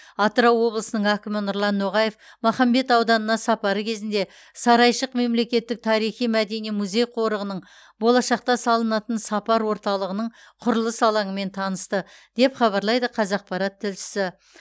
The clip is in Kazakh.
атырау облысының әкімі нұрлан ноғаев махамбет ауданына сапары кезінде сарайшық мемлекеттік тарихи мәдени музей қорығының болашақта салынатын сапар орталығының құрылыс алаңымен танысты деп хабарлайды қазақпарат тілшісі